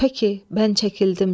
Pəki, mən çəkildim.